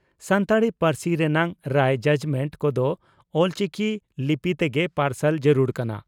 ᱥᱟᱱᱛᱟᱲᱤ ᱯᱟᱹᱨᱥᱤ ᱨᱮᱱᱟᱜ ᱨᱟᱭ (ᱡᱟᱡᱽᱢᱮᱱᱴ) ᱠᱚᱫᱚ ᱚᱞᱪᱤᱠᱤ ᱞᱤᱯᱤ ᱛᱮᱜᱮ ᱯᱟᱨᱥᱟᱞ ᱡᱟᱹᱨᱩᱲ ᱠᱟᱱᱟ ᱾